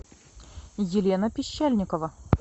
елена пищальникова